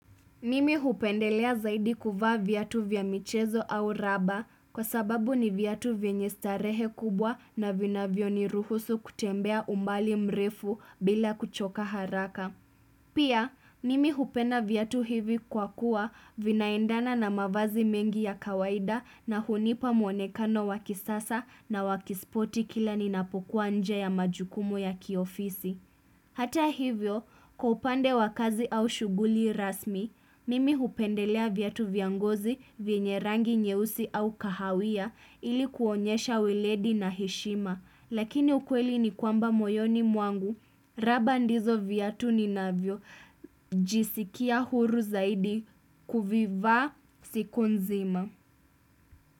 Mimi hupendelea zaidi kuvaa viatu vya michezo au raba kwa sababu ni viatu vyenye starehe kubwa na vinavyo ni ruhusu kutembea umbali mrefu bila kuchoka haraka. Pia, mimi hupenda viatu hivi kwa kuwa vinaendana na mavazi mengi ya kawaida na hunipa muonekano wakisasa na wakisporti kila ninapokuwa nje ya majukumu ya kiofisi. Hata hivyo, kwa upande wa kazi au shuguli rasmi, mimi hupendelea vyatu vya ngozi venye rangi nyeusi au kahawia ili kuonyesha ueledi na heshima. Lakini ukweli ni kwamba moyoni mwangu, raba ndizo viatu ni navyojisikia huru zaidi kuvivaa siku nzima.